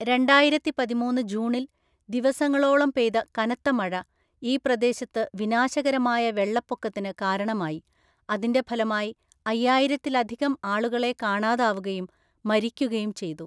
രണ്ടായിരത്തിപതിമൂന്ന് ജൂണിൽ, ദിവസങ്ങളോളം പെയ്ത കനത്ത മഴ ഈ പ്രദേശത്ത് വിനാശകരമായ വെള്ളപ്പൊക്കത്തിന് കാരണമായി, അതിന്റെ ഫലമായി അയ്യായിരത്തിലധികം ആളുകളെ കാണാതാവുകയും മരിക്കുകയും ചെയ്തു.